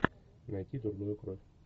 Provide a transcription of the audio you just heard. найти дурную кровь